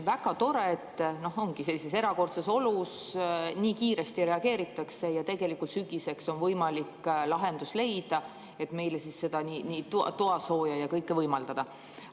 Väga tore, et sellises erakordses olukorras nii kiiresti reageeritakse ja tegelikult sügiseks on võimalik leida lahendus, et meile nii toasooja kui kõike muud võimaldada.